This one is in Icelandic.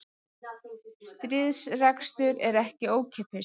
Stríðsrekstur er ekki ókeypis